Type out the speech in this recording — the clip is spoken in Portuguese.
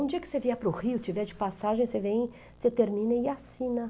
Um dia que você vier para o Rio, tiver de passagem, você vem, você termina e assina.